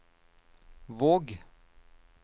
Våg